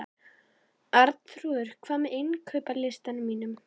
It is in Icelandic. Arnþrúður, hvað er á innkaupalistanum mínum?